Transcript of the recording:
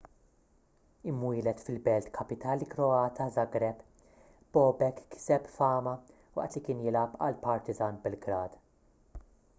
imwieled fil-belt kapitali kroata żagreb bobek kiseb fama waqt li kien jilgħab għal partizan belgrade